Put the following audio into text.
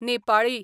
Nepali